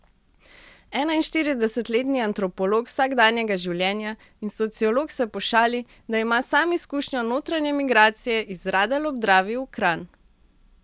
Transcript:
Enainštiridesetletni antropolog vsakdanjega življenja in sociolog se pošali, da ima sam izkušnjo notranje migracije iz Radelj ob Dravi v Kranj.